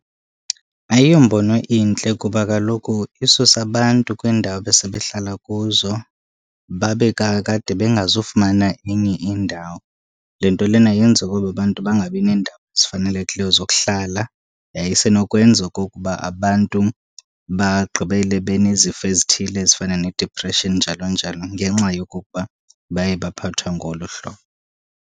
Ayombono intle kuba kaloku isusa abantu kwiindawo ebesebehlala kuzo babe kakade bengazufumana enye indawo. Le nto lena yenza ukuba abantu bangabi nendawo ezifanelekileyo zokuhlala yaye isenokwenza okokuba abantu bagqibele benezifo ezithile ezifana ne-depression njalo njalo, ngenxa yokokuba baye baphathwa ngolu hlobo.